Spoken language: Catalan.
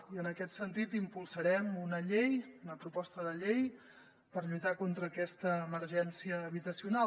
i en aquest sentit impulsarem una llei una proposta de llei per lluitar contra aquesta emergència habitacional